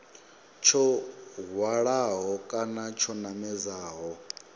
tsho hwalaho kana tsho namedzaho